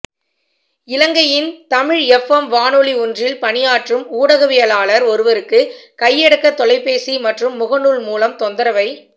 இலங்கையின் Tamil F M வானொலி ஒன்றில் பணியாற்றும் ஊடகவியலாளர் ஒருவருக்கு கையடக்க தொலைபேசி மற்றும் முகநூல் மூலம் தொந்தரவை